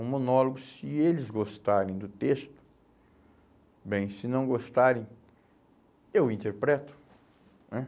Um monólogo, se eles gostarem do texto, bem, se não gostarem, eu interpreto, né?